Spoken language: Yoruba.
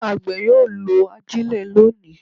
Àgbẹ̀ yóò lo ajile lónìí.